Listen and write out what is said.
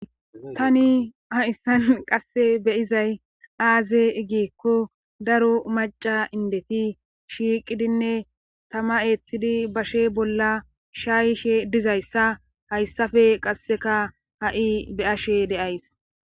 Tani hayssan qassi be7izay aaze giikko daro macca indeti shiiqidinne thama eethidi bashe bolla shaayishe dizayssa hayssape qassikka ha7i be7ashe de7ays.